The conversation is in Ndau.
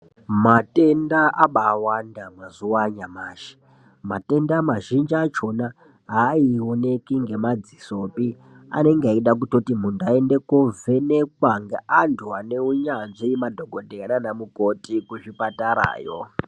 Matenda abaawanda mazuva anyamashi matenda mazhinji achona haaoneki nemadzisopi, anenge eida kutoti muntu aende koovhenekwa ngeantu aneunyanzvi, madhogodheya naana mukoti kuzvipatarayo.